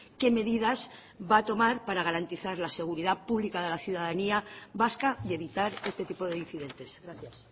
qué medidas va a tomar para garantizar la seguridad pública de la ciudadanía vasca y evitar este tipo de incidentes gracias